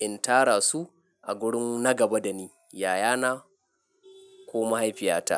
in tara su a gurin na gaba da ni, yayana ko mahaifiyata.